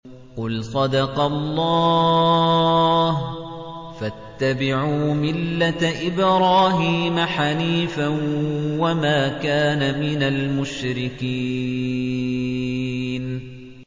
قُلْ صَدَقَ اللَّهُ ۗ فَاتَّبِعُوا مِلَّةَ إِبْرَاهِيمَ حَنِيفًا وَمَا كَانَ مِنَ الْمُشْرِكِينَ